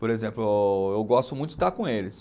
Por exemplo, ô eu gosto muito de estar com eles.